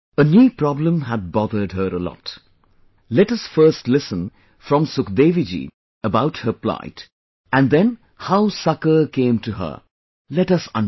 A knee problem had bothered her a lot, let us first listen from Sukhdevi ji about her plight and then how succour came to her, let us understand